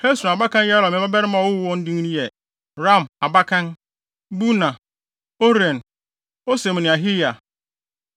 Hesron abakan Yerahmeel mmabarima a ɔwoo wɔn no din yɛ Ram (abakan), Buna, Oren, Osem ne Ahiya.